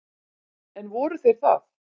En voru þeir það?